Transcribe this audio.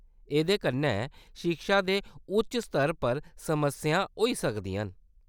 एह्‌‌‌दे कन्नै शिक्षा दे उच्च स्तर पर समस्यां होई सकदियां न।